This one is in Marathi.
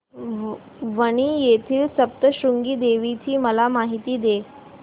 वणी येथील सप्तशृंगी देवी ची मला माहिती दे